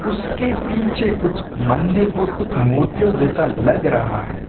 उसके पीछे कुछ मंदिर और कुछ मूर्तियों जैसा लग रहा है।